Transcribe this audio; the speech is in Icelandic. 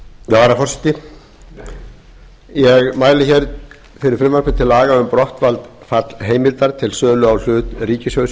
forseti ég mæli hér fyrir frumvarpi til laga um brottfall heimildar til sölu á hlut ríkissjóðs í